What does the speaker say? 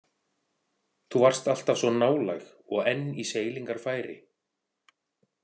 Þú varst alltaf svo nálæg og enn í seilingarfæri.